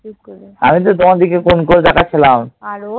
আমি তো তোমার দিকে কোণ করে তাকাচ্ছিলাম।